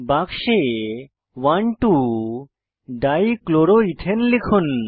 বাক্সে 12 ডাইক্লোরোইথেন লিখুন